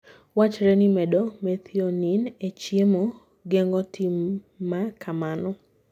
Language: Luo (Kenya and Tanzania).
Wachre ni medo methionine e chiemo, geng'o tim ma kamano.